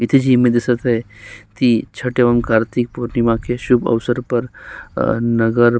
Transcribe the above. इथे जीम दिसत आहे ती छोट्या ओंकार कार्तिक पौर्णिमाके शुभ अवसरपर नगर--